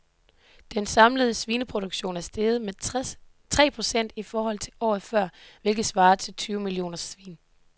Den samlede svineproduktion er steget med tre procent i forhold til året før, hvilket svarer til tyve millioner svin.